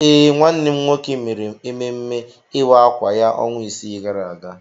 Ee, nwanne m nwoke mere ememme ịwa akwa ya ọnwa isii gara aga.